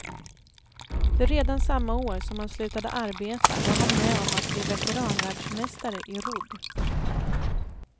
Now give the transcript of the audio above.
För redan samma år som han slutade arbeta var han med om att bli veteranvärldsmästare i rodd.